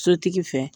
Sotigi fɛ